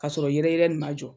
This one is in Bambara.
Kasɔrɔ yɛrɛyɛrɛ nin ma jɔ.